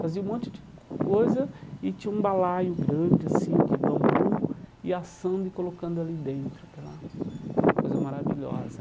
Fazia um monte de co coisa e tinha um balaio grande, assim, de bambu, e assando e colocando ali dentro aquela aquela coisa maravilhosa.